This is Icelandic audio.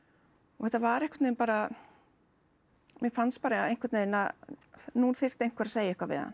og þetta var einhvern veginn bara mér fannst bara einhvern veginn að nú þyrfti einhver að segja eitthvað við hann